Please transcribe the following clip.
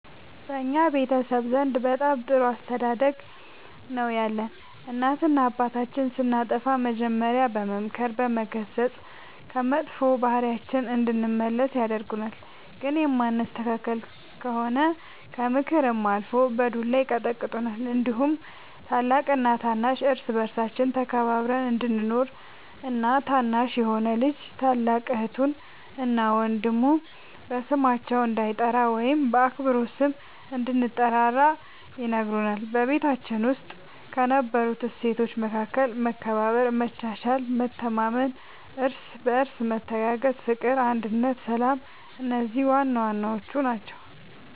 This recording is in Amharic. በእኛ ቤተሰብ ዘንድ በጣም ጥሩ አስተዳደግ ነው ያለን እናትና አባታችን ስናጠፋ መጀሪያ በመምከር በመገሰፅ ከመጥፎ ባህሪያችን እንድንመለስ ያደርጉናል ግን የማንስተካከል ከሆነ ከምክርም አልፎ በዱላ ይቀጡናል እንዲሁም ታላቅና ታናሽ እርስ በርሳችን ተከባብረን እንድንኖር እና ታናሽ የሆነ ልጅ ታላቅ እህቱን እና ወንድሙ በስማቸው እንዳይጠራ ወይም በአክብሮት ስም እንድንጠራራ ይነግሩናል በቤታችን ውስጥ ከነበሩት እሴቶች መካከል መከባበር መቻቻል መተማመን እርስ በርስ መተጋገዝ ፍቅር አንድነት ሰላም እነዚህ ዋናዋናዎቹ ናቸው